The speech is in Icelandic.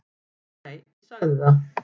Nei, ég sagði það.